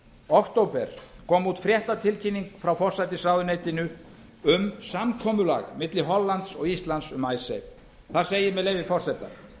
október kom út fréttatilkynning frá forsætisráðuneytinu um samkomulag milli hollands og íslands um icesave þar segir með leyfi forseta